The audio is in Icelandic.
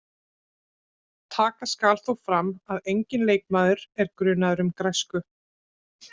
Taka skal þó fram að enginn leikmaður er grunaður um græsku.